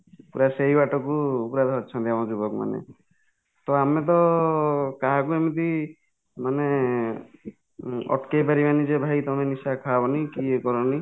ପୁରା ସେହି ବାଟକୁ ପୁରା ଧରିଛନ୍ତି ଆମ ଯୁବକ ମାନେ ,ତ ଆମେ ତ କାହାକୁ ଏମିତି ମାନେ ଅଟକେଇ ପାରିବାନି ଯେ ଭାଈ ତମେ ନିଶା ଖାଅନି କି ଇଏ କରନି